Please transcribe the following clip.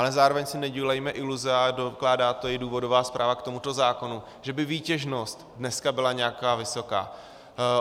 Ale zároveň si nedělejme iluze, a dokládá to i důvodová zpráva k tomuto zákonu, že by výtěžnost dneska byla nějaká vysoká.